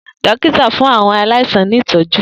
Dokita fun awọn alaisan ni itọju.